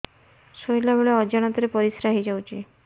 ଶୋଇଲା ବେଳେ ଅଜାଣତ ରେ ପରିସ୍ରା ହେଇଯାଉଛି